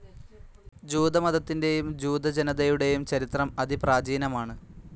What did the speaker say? ജൂതമതത്തിൻ്റെയും ജൂത ജനതയുടെയും ചരിത്രം അതിപ്രാചീനമാണ്.